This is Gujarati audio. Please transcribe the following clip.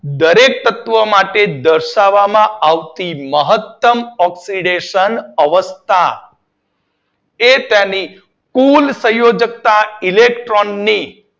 દરેક તત્વ માટે દર્શાવવામાં આવતી મહતમ ઓક્સીડેશન અવસ્થા તે તેની કુલ સનયોજકતા ઇલેક્ટ્રોન ની